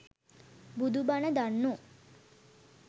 බුදු බණ දන්නෝ